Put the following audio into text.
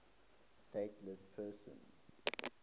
stateless persons